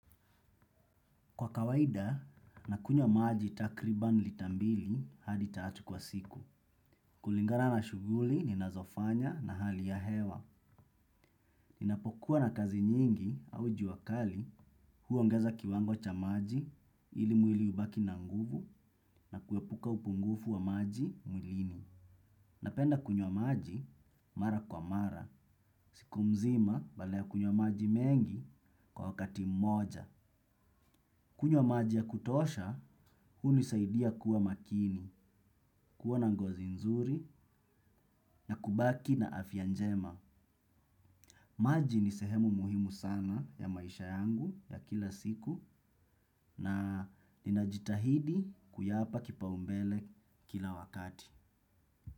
Kwa kawaida, nakunywa maji takriban lita mbili hadi tatu kwa siku. Kulingana na shughuli ninazofanya na hali ya hewa. Ninapokuwa na kazi nyingi au jua kali huongeza kiwango cha maji ili mwili ubaki na nguvu na kuepuka upungufu wa maji mwilini. Napenda kunyo maji mara kwa mara. Siku mzima badala ya kunywa maji mengi kwa wakati mmoja. Kunywa maji ya kutosha, hunisaidia kuwa makini, kuwa na ngozi nzuri na kubaki na afya njema. Maji ni sehemu muhimu sana ya maisha yangu ya kila siku na ninajitahidi kuyapa kipaumbele kila wakati.